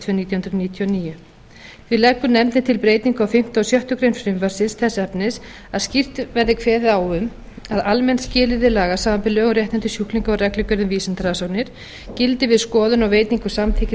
nítján hundruð níutíu og níu því leggur nefndin til breytingu á fimmta og sjöttu greinar frumvarpsins þess efnis að skýrt verði kveðið á um að almenn skilyrði laga samanber lög um réttindi sjúklinga og reglugerð um vísindarannsóknir gildi við skoðun og veitingu samþykkis